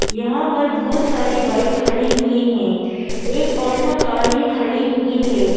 यहां पर बहुत सारी बाइक खड़ी हुई हैं एक ऑल्टो कार भी खड़ी हुई है।